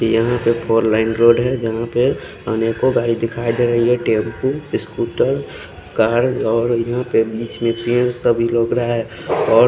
यहाँ पे four lane road है जहा पे अनेको गाड़ी दिखाई दे रही है टेम्पू स्कोटर कार और यहाँ पे बिच में और--